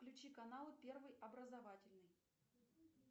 включи канал первый образовательный